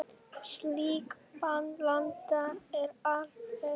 Slík blanda er afleit.